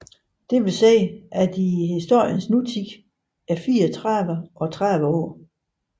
Det vil sige at de i historiens nutid er 34 og 30 år